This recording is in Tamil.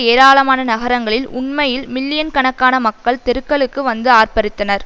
ஏராளமான நகரங்களில் உண்மையில் மில்லியன் கணக்கான மக்கள் தெருக்களுக்கு வந்து ஆர்ப்பரித்தனர்